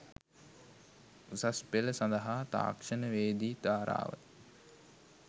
උසස් ‍පෙළ සඳහා ‍තාක්ෂණ‍වේදි ධාරාව